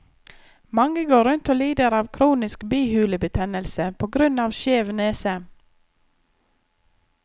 Mange går rundt og lider av kronisk bihulebetennelse på grunn av skjev nese.